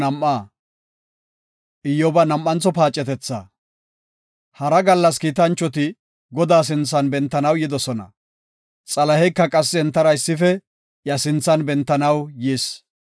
Hara gallas kiitanchoti Godaa sinthan bentanaw yidosona; Xalaheyka qassi entara issife iya sinthan bentanaw yis.